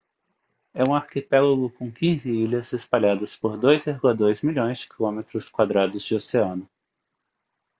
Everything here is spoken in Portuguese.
é um arquipélago com 15 ilhas espalhadas por 2,2 milhões de quilômetros quadrados de oceano